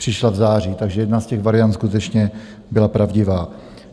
Přišla v září, takže jedna z těch variant skutečně byla pravdivá.